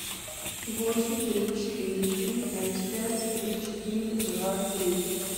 восемь три четыре три пять пять три четыре два три